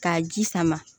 K'a ji sama